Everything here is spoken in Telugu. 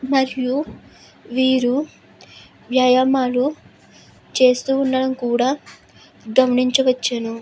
మరియు వీరు వ్యయమను చేస్తూ ఉండటం కూడా గమనించవచ్చును.